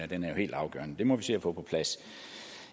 den er helt afgørende så den må vi se at få på plads